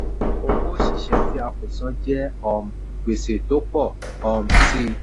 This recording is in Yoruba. owó oṣiṣẹ tí a kò san jẹ́ um gbèsè tó pọ̀ um síi.